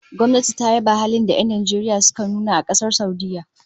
Gwamnati ta yaba halin da'a da 'yan Najeriya suka nuna a Kasar Saudiyya